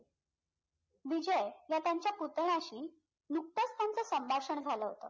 विजय ह्या त्यांच्या पुतण्याशी नुकताच त्यांचं संभाषण झाला होतं